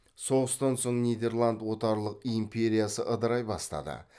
соғыстан соң нидерланд отарлық империясы ыдырай бастады